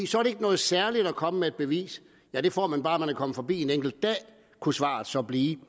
så er det ikke noget særligt at komme med et bevis for det får man bare man er kommet forbi en enkelt dag kunne svaret så blive